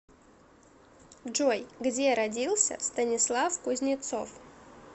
джой где родился станислав кузнецов